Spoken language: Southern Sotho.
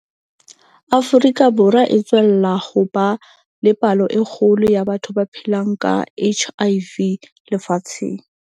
Afrika Borwa e tswella ho ba le palo e kgolo ya batho ba phelang ka HIV lefatsheng.